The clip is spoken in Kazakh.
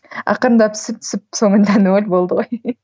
ақырындап түсіп түсіп соңында ноль болды ғой